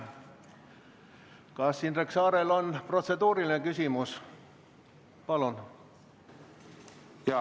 Kas Indrek Saarel on protseduuriline küsimus?